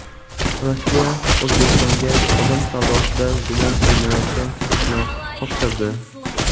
Rossiya O‘zbekistonga odam savdosida gumon qilinayotgan shaxsni topshirdi.